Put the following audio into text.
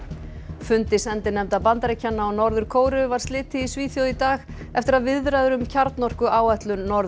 fundi sendinefnda Bandaríkjanna og Norður Kóreu var slitið í Svíþjóð í dag eftir að viðræður um kjarnorkuáætlun Norður